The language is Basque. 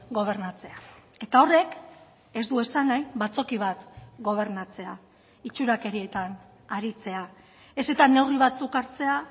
gobernatzea eta horrek ez du esan nahi batzoki bat gobernatzea itxurakerietan aritzea ez eta neurri batzuk hartzea